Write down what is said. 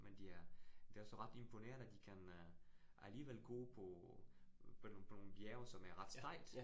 Men de er, det også ret imponerende de kan øh alligevel gå på på nogle på nogle bjerge, som er ret stejlt